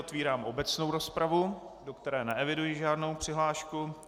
Otevírám obecnou rozpravu, do které neeviduji žádnou přihlášku.